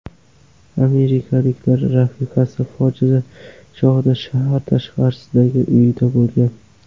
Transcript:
Amerikalikning rafiqasi fojia chog‘ida shahar tashqarisidagi uyida bo‘lgan.